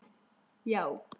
Já